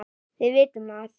Við vitum að